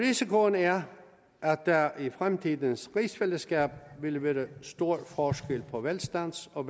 risikoen er at der i fremtidens rigsfællesskab vil være stor forskel på velstands og